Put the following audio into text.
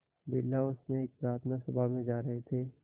Birla house में एक प्रार्थना सभा में जा रहे थे